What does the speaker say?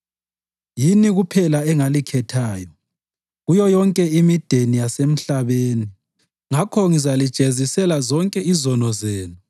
“Yini kuphela engalikhethayo kuyo yonke imideni yasemhlabeni; ngakho ngizalijezisela zonke izono zenu.”